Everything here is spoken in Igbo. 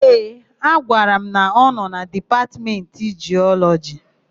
Ee, ọ gwara m na ọ nọ na Dipatmentị Jiọlọjị.